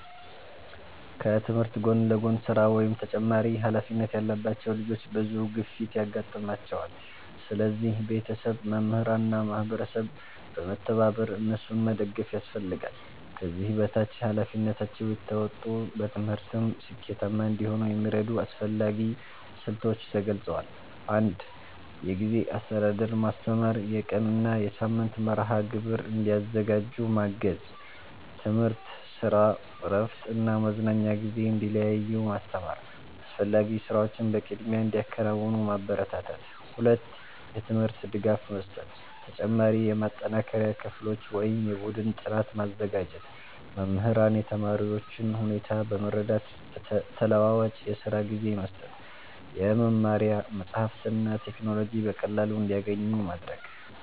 ከትምህርት ጎን ለጎን ስራ ወይም ተጨማሪ ኃላፊነት ያለባቸው ልጆች ብዙ ግፊት ያጋጥማቸዋል። ስለዚህ ቤተሰብ፣ መምህራን እና ማህበረሰብ በመተባበር እነሱን መደገፍ ያስፈልጋል። ከዚህ በታች ኃላፊነታቸውን እየተወጡ በትምህርትም ስኬታማ እንዲሆኑ የሚረዱ አስፈላጊ ስልቶች ተገልጸዋል። 1. የጊዜ አስተዳደር ማስተማር የቀን እና የሳምንት መርሃ ግብር እንዲያዘጋጁ ማገዝ። ትምህርት፣ ስራ፣ እረፍት እና መዝናኛ ጊዜ እንዲለዩ ማስተማር። አስፈላጊ ስራዎችን በቅድሚያ እንዲያከናውኑ ማበረታታት። 2. የትምህርት ድጋፍ መስጠት ተጨማሪ የማጠናከሪያ ክፍሎች ወይም የቡድን ጥናት ማዘጋጀት። መምህራን የተማሪዎቹን ሁኔታ በመረዳት ተለዋዋጭ የስራ ጊዜ መስጠት። የመማሪያ መጻሕፍትና ቴክኖሎጂ በቀላሉ እንዲያገኙ ማድረግ።